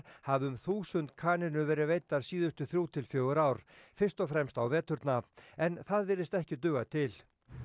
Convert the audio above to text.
hafi um þúsund kanínur verið veiddar síðustu þrjú til fjögur ár fyrst og fremst á veturna en það virðist ekki duga til